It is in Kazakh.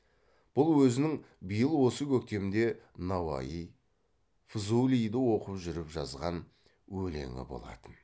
бұл өзінің биыл осы көктемде науаи фзулиді оқып жүріп жазған өлеңі болатын